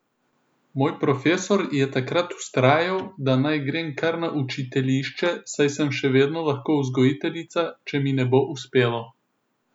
Moj profesor je takrat vztrajal, da naj grem kar na učiteljišče, saj sem še vedno lahko vzgojiteljica, če mi ne bo uspelo.